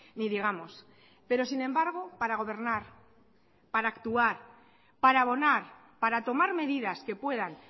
ni digamos pero sin embargo para gobernar para actuar para abonar para tomar medidas que puedan